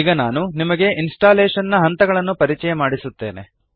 ಈಗ ನಾನು ನಿಮಗೆ ಇನ್ಸ್ಟಾಲ್ಲೇಶನ್ ನ ಹಂತಗಳನ್ನು ಪರಿಚಯ ಮಾಡಿಸುತ್ತೆನೆ